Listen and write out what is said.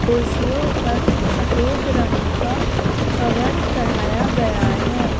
कुर्सियों पर सफेद रंग का कवर चढ़ाया गया है।